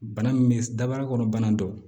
Bana min bɛ daba kɔnɔ bana don